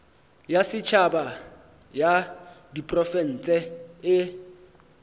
ya setšhaba ya diprofense e